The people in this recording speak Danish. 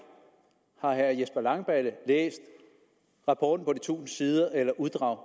har herre jesper langballe læst rapporten på de tusind sider eller uddrag